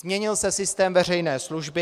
Změnil se systém veřejné služby.